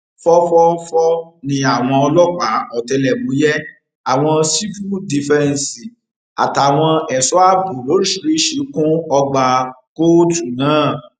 fòfòófó ni àwọn ọlọpàá ọtẹlẹmúyẹ àwọn sífù dífẹǹsì àtàwọn ẹṣọ ààbò lóríṣìíríṣìí kún ọgbà kóòtù náà